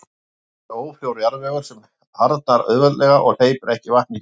Eftir verður ófrjór jarðvegur sem harðnar auðveldlega og hleypir ekki vatni í gegnum sig.